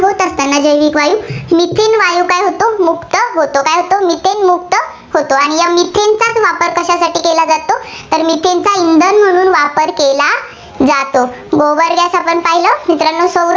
जैविक वायू. methane वायू मुक्त होतो. काय होतो, मुक्त होतो. आणि या methane चा वापर कशासाठी केला जातो, तर methane चा वापर इंधन म्हणून वापर केला जातो. गोबर gas आपण पाहिलं.